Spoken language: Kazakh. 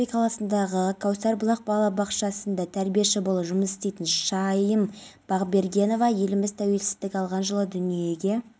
үшін медалімен алматы облысы ішкі істер департаментінің жедел-криминалистік басқармасының бастығы кимді ерлігі үшін медалімен марапаттады